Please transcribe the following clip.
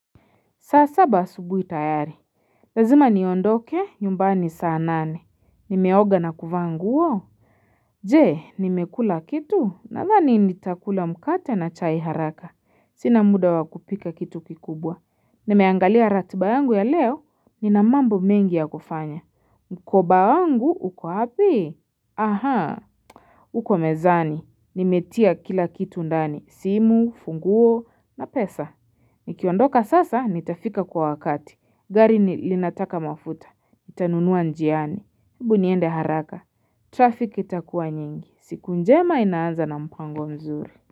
Saa saba asubuhi tayari. Lazima niondoke, nyumbani saa nane. Nimeoga na kuvaa nguo. Je, nimekula kitu, nadhani nitakula mkate na chai haraka. Sina muda wakupika kitu kikubwa. Nimeangalia ratiba yangu ya leo, ninamambo mengi ya kufanya. Mkoba wangu, uko wapi?. Uko mezani, nimetia kila kitu ndani, simu, funguo, na pesa. Nikiondoka sasa, nitafika kwa wakati. Gari ni linataka mafuta. Nitanunua njiani. Ebu niende haraka. Traffic itakuwa nyingi. Siku njema inaanza na mpango mzuri.